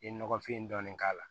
I ye nɔgɔfin dɔɔnin k'a la